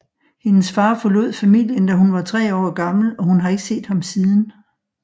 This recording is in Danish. Hendes far forlod familien da hun var tre år gammel og hun har ikke set ham siden